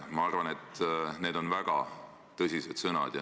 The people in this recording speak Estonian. Ma arvan, et need on väga tõsised sõnad.